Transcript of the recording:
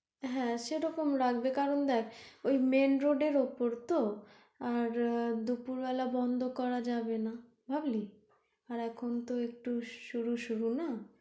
হ্যাঁ সেরকম রাখবে কারন দেখ ওই main road এর ওপর তো, আর দুপুর বেলা বন্ধ করা যাবে না বুঝলি আর এখন তো একটু শুরু শুরু না?